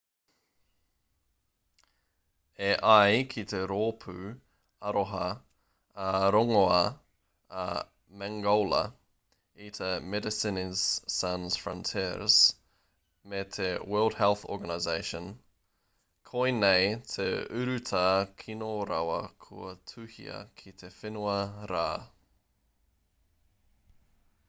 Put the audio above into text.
e ai ki te rōpū aroha ā-rongoā a mangola i te medecines sans frontieres me te world health organisation koinei te urutā kino rawa kua tuhia ki te whenua rā